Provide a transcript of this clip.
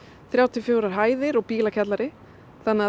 þrjár til fjórar hæðir og bílakjallari þannig að